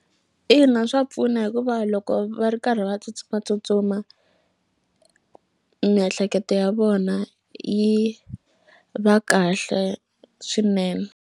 Ina swa pfuna hikuva loko va ri karhi va tsutsumatsutsuma miehleketo ya vona yi va kahle swinene.